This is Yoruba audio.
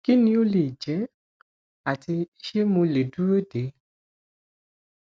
kí ni ó lè jẹ ati ṣé mo le duro de